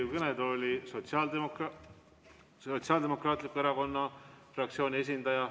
Ma palun Riigikogu kõnetooli Sotsiaaldemokraatliku Erakonna fraktsiooni esindaja.